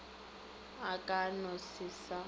a ka no se sa